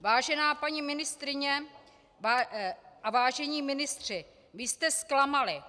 Vážená paní ministryně a vážení ministři, vy jste zklamali.